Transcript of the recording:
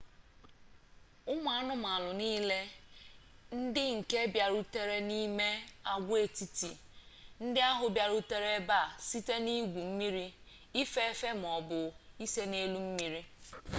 ụmụ anụmanụ niile ndị nke bịarutere n'ime agwaetiti ndị ahụ bịarutere ebe a site n'igwu mmiri ife efe ma ọ bụ ise n'elu mmiri